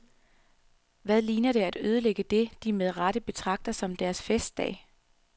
Hvad ligner det at ødelægge det, de med rette betragter som deres festdag.